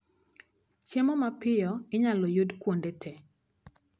Chiemo mapiyo inyalo yud kuonde tee